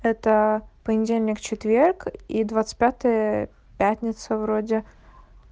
это понедельник-четверг и двадцать пятое пятница вроде